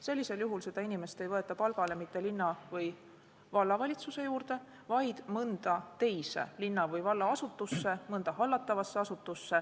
Sellisel juhul ei võeta seda inimest palgale mitte linna- või vallavalitsuse juurde, vaid mõnda teise linna- või vallaasutusse.